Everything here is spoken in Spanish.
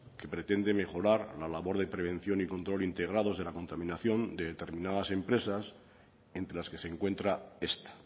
que pretende mejorar la labor de prevención y control integrados de la contaminación de determinadas empresas entre las que se encuentra esta